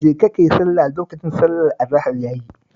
Jeka ka yi sallah, lokacin sallar azahar ya yi